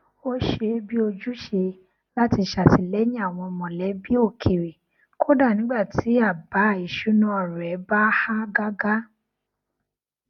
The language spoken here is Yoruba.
ó ṣe é bi ojúṣe láti ṣàtìlẹyìn àwọn mọlẹbí òkèrè kódà nígbà tí àbá ìṣúná rẹ bá há gágá